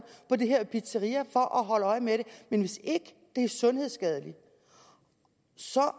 på det her pizzeria for at holde øje med det men hvis ikke det er sundhedsskadeligt så